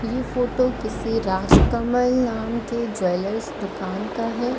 ये फोटो किसी राजकमल नाम के ज्वैलर्स दुकान का हैं।